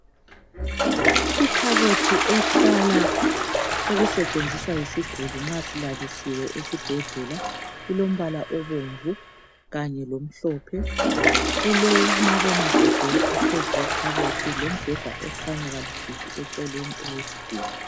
Ikhabothi ehlala okusetshenziswa yisiguli nxa silalisiwe esibhedlela. Ilombala obomvu kanye lomhlophe. Kulomabonakude ophezu kwekhabothi lombheda okhanya kalufifi eceleni kwesiguli.